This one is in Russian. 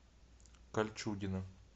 кольчугино